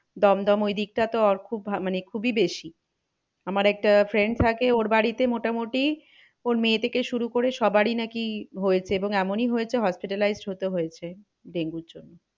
দমদম ওই দিকটা তো ওর খুব মানে খুবই বেশি। আমার একটা friend থাকে ওর বাড়িতে মোটামুটি ওর মেয়ে থেকে শুরু করে সবারই নাকি হয়েছে এবং এমনই হয়েছে hospitalized হতে হয়েছে। ডেঙ্গুর জন্য